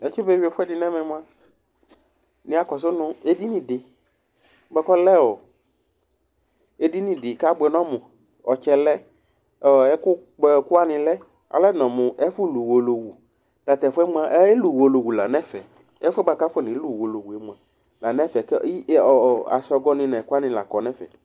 Natsi be yʋi ɛfʋɛdɩ nʋ ɛmɛ mʋa, nɩya kɔsʋ nʋ edini dɩ bʋakʋ abʋɛ nʋ ɔmʋ Ɔtsɛ lɛ, ɛkʋkpɔɛkʋ wanɩ lɛ Ɔlɛnɔ mʋ ɛfʋ yɛ bʋakʋ akonelʋ uwolowu la nʋ ɛfɛ kʋ asɔgɔ nʋ ɛkʋ wanɩ la akɔ nʋ ɛfɛ